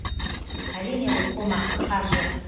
әрине бұл қомақты қаржы